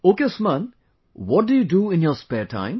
Ok Usman, what do you do in your spare time